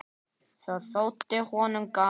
Það þótti honum gaman.